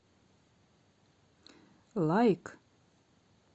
лайк